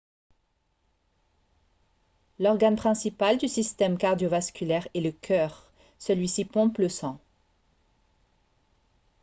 l'organe principal du système cardio-vasculaire est le cœur celui-ci pompe le sang